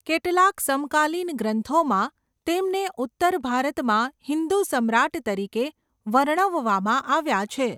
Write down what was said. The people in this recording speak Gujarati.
કેટલાક સમકાલીન ગ્રંથોમાં, તેમને ઉત્તર ભારતમાં હિંદુ સમ્રાટ તરીકે વર્ણવવામાં આવ્યા છે.